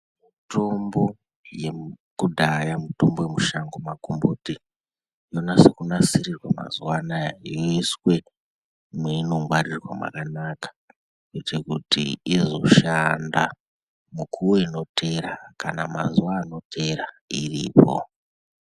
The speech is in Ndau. Tombo yemukudhaya mutombo yekushango makomboti yonase kunasirwa mazuwa anaya yeiswe mweinongwaririrwa mwakanaka kuite kuti izoshanda mukuwo inoteera kana mazuwa anoteera iripo.